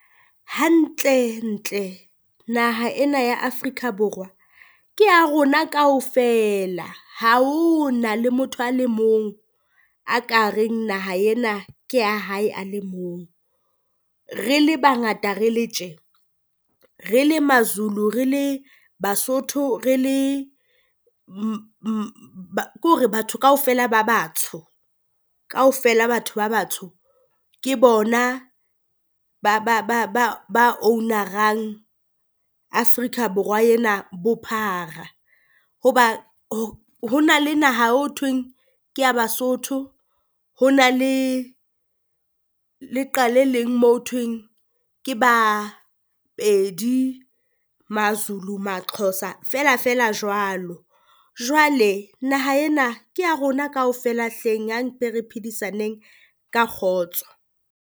Hantlentle naha ena ya Afrika Borwa ke ya rona kaofela, ha ho na le motho a le mong a ka reng naha ena ke ya hae, a le mong. Re le bangata re le tje re le Mazulu, re le Basotho, re le ke hore batho kaofela ba batsho kaofela batho ba batsho ke bona ba ba ba ba ba owner-rang Afrika Borwa ena bophara. Hoba hona le naha o ho thweng ke ya Basotho ona le leqa le leng mo ho thweng ke Bapedi, Mazulu Maxhosa feela feela jwalo. Jwale naha ena ke ya rona kaofela hleng a mpeng re phedisaneng ka kgotso.